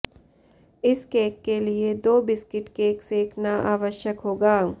इस केक के लिए दो बिस्कुट केक सेंकना आवश्यक होगा